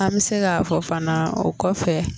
An bɛ se k'a fɔ fana o kɔ fɛ